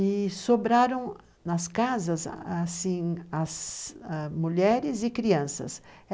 E sobraram nas casas, as assim, as mulheres e crianças.